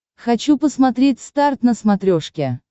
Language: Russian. хочу посмотреть старт на смотрешке